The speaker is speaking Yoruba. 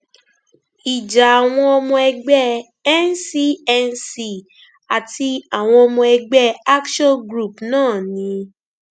ìjà àwọn ọmọ ẹgbẹ ncnc àti àwọn ọmọ ẹgbẹ [ action group náà ni